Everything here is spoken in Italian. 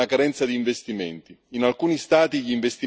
Nella zona euro permane una carenza di investimenti.